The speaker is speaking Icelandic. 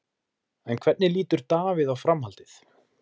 En hvernig lítur Davíð á framhaldið?